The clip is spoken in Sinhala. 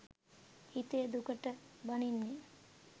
හිතේ දුකට බනින්නේ